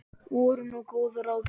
Voru nú góð ráð dýr.